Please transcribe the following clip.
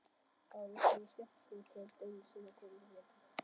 Það er víst svona skemmtikvöld einu sinni á hverjum vetri.